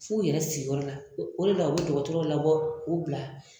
F'u yɛrɛ sigi yɔrɔ la. O de la u be dɔgɔtɔrɔw labɔ k'u bila.